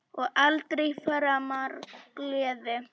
Og aldrei framar gleði.